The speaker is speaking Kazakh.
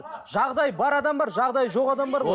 жағдайы бар адам бар жағдайы жоқ адам бар ғой